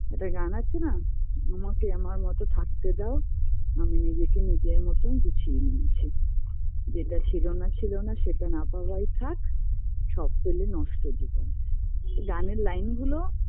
একটা গান আছে না আমাকে আমার মতো থাকতে দাও আমি নিজেকে নিজের মতো গুছিয়ে নিয়েছি যেটা ছিলোনা ছিলোনা সেটা না পাওয়াই থাক সব পেলে নষ্ট জীবন গানের line -গুলো